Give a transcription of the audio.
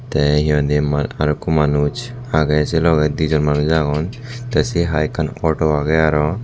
te yani mal arokko manuch agey se loge dijon manuj agon te se hai ekkan auto agey aro.